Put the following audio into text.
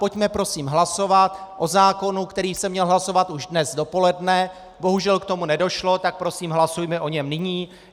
Pojďme prosím hlasovat o zákonu, který se měl hlasovat už dnes dopoledne, bohužel k tomu nedošlo, tak prosím hlasujme o něm nyní.